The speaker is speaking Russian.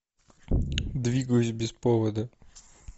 двигаюсь без повода